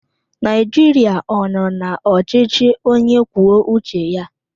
Nigeria ọ nọ na ọchịchị onye kwuo uche ya?